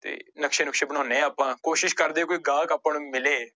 ਤੇ ਨਕਸ਼ਾ ਨੁਕਸ਼ੇ ਬਣਾਉੁਂਦੇ ਹਾਂ ਆਪਾਂ, ਕੋਸ਼ਿਸ਼ ਕਰਦੇ ਹਾਂ ਕੋਈ ਗਾਹਕ ਆਪਾਂ ਨੂੰ ਮਿਲੇ।